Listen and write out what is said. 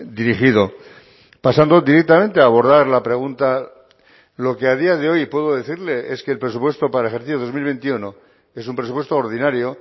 dirigido pasando directamente a abordar la pregunta lo que a día de hoy puedo decirle es que el presupuesto para el ejercido dos mil veintiuno es un presupuesto ordinario